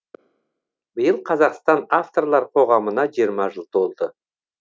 биыл қазақстан авторлар қоғамына жиырма жыл толды